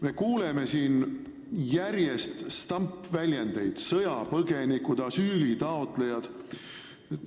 Me kuuleme siin järjest stampväljendeid: sõjapõgenikud, asüülitaotlejad.